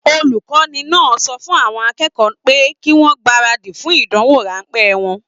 Olukọni náà sọ fún àwọn akẹ́kọ̀ọ́ pé kí wọn gbaradi fún ìdánwò ránpẹ́ wọn.